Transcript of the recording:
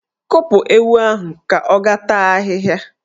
Kpụpụ ewu ahụ ka ọ ga taa ahịhịa!